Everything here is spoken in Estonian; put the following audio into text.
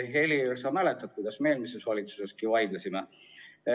Helir, sa mäletad, kuidas me eelmises valitsuseski vaidlesime.